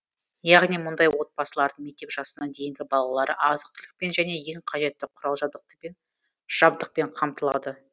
яғни мұндай отбасылардың мектеп жасына дейінгі балалары азық түлікпен және ең қажетті құрал жабдықпен қамтылады